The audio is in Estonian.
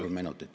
Kolm minutit.